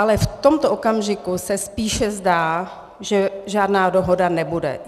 Ale v tomto okamžiku se spíše zdá, že žádná dohoda nebude.